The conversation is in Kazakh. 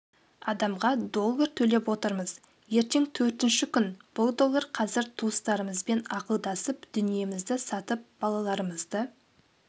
адамға доллар төлеп отырмыз ертең төртінші күн бұл доллар қазір туыстарымызбен ақылдасып дүниемізді сатып балаларымызды